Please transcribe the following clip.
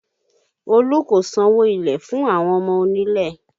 Olu kò sanwó ilẹ̀ fún àwọn ọmọ onílẹ̀